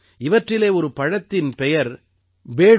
இவற்றிலே ஒரு பழத்தின் பெயர் பேடூ